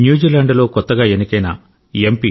న్యూజిలాండ్లో కొత్తగా ఎన్నికైన ఎం